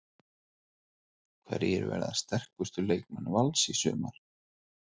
Hverjir verða sterkustu leikmenn Vals í sumar?